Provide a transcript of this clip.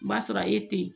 O b'a sɔrɔ e te yen